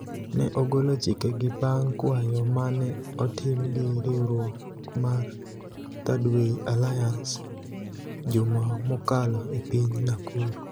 ne ogolo chike gi bang' kwayo mane otim gi riwruok mar Thirdway Alliance, juma mokalo e piny Nakuru.